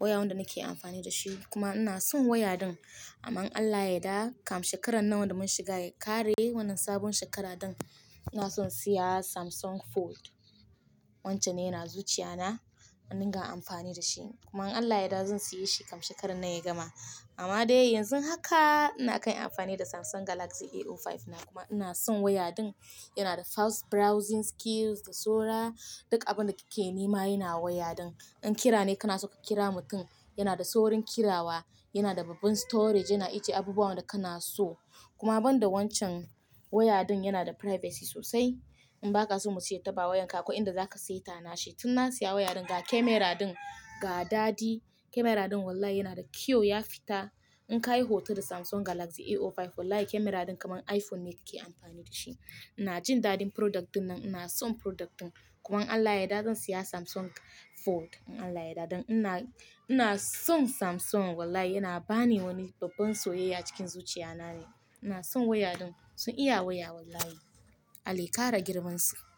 waya wanda nake amfani da shi kuma ina son waya din. Amma Allah ya da kam shekarar nan da mun shiga ya ƙare wannan sabon shekara din, ina son siya Samsung Fold. Wancan ne yana zuciya na, wanda na amfani da shi. Kuma Allah ya da zan siya shi kam shekarar nan ya gama. Amma dai yanzu haka ina kai amfani da Samsung Galaxy A05 na kuma ina son waya din. Yana da fast browsing skills da saura. Duk abin da kike nema yana waya din. In kira ne kana so ka kira mutum, yana da saurin kirawa, yana da babban storage, yana icce abubuwan da kana so. Kuma ban da wancan waya din yana da privacy sosai. In ba ka so muci ya taɓa wayan ka, ko inda za ka sa ita na she. Tun na siya waya din ga camera din ga dadi. Camera din wallahi yana da kiyo ya fita. In ka yi hoton da Samsung Galaxy A05 wallahi camera din kaman iPhone ne ke amfani da shi. Ina jin dadin product din nan, ina son product din. Kuma Allah ya da zan siya Samsung Fold in Allah ya yarda. Dan Ina, ina son Samsung wallahi yana bani wani babban soyayya cikin zuciya na ne. Ina son waya din. Sun iya waya wallahi. Allah ya kara girman su.